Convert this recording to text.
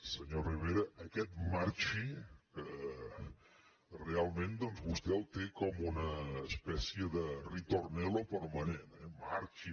senyor rivera aquest marxi realment doncs vostè el té com una espècie de ritornelloxi